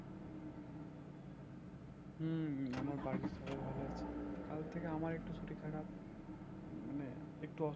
হম হম আমার বাড়ির সবাই ভালো আছে। কাল থেকে আমার একটু শরীর খারাপ। মানে একটু